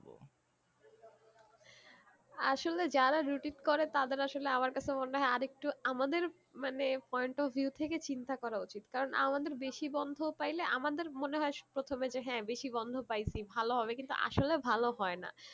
আসলে যারা routine করে তাদের আসলে আমার কাছে মনে হয়ে আরেকটু আমাদের মানে point of view থেকে চিন্তা করা উচিত কারণ আমাদের বেশি বন্ধ পাইলে আমাদের মনে হয়ে প্রথমে যে হ্যাঁ বেশি বন্ধ পাইছি ভালো হবে কিন্তু আসলে ভালো হয়ে না